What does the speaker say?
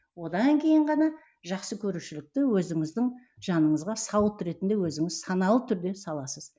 одан кейін ғана жақсы көрушілікті өзіңіздің жаныңызға сауыт ретінде өзіңіз саналы түрде саласыз